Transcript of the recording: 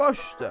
Baş üstdə.